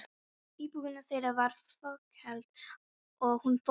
Íbúðin þeirra var fokheld, og hún var stór.